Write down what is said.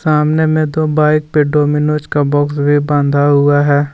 सामने में दो बाइक पे डोमिनोज का बॉक्स भी बांधा हुआ है।